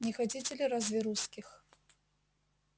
не хотите ли разве русских